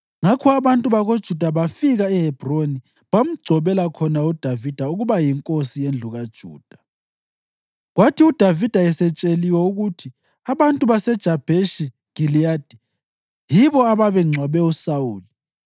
Ngakho abantu bakoJuda bafika eHebhroni bamgcobela khona uDavida ukuba yinkosi yendlu kaJuda. Kwathi uDavida esetsheliwe ukuthi abantu baseJabheshi Giliyadi yibo ababengcwabe uSawuli,